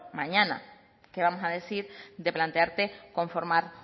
mañana qué vamos a decir de plantearte conformar